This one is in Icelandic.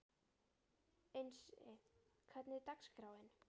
Einsi, hvernig er dagskráin?